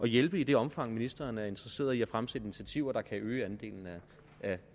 hjælpe i det omfang ministeren er interesseret i at fremsætte initiativer der kan øge andelen af